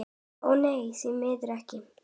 Ó nei, því miður ekki.